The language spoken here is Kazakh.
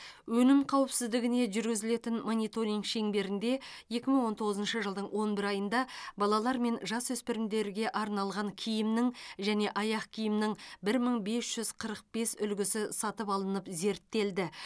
өнім қауіпсіздігіне жүргізілетін мониторинг шеңберінде екі мың он тоғызыншы жылдың он бір айында балалар мен жасөспірімдерге арналған киімнің және аяқ киімнің бір мың бес жүз қырық бес үлгісі сатып алынып зерттелді